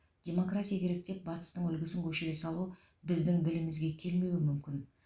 демократия керек деп батыстың үлгісін көшіре салу біздің ділімізге келмеуі мүмкін